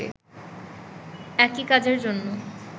একই কাজের জন্য